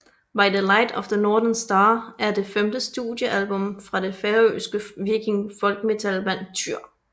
By the Light of the Northern Star er det femte studiealbum fra det færøske viking folkmetal band Týr